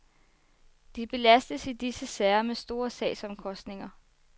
De belastes i disse sager med store sagsomkostninger.